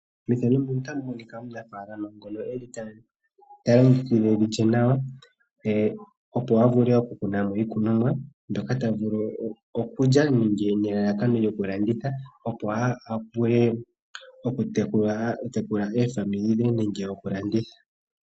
Mefano muka otamu monika omunafalama ngoka eli taa longekidha evi lye nawa. Opo a vule oku kuna mo iikunomwa mbyoka ta vulu okulya nenge nelalakano lyoku landitha opo a vule oku tekula ofaamili dhe nenge dhoku landitha.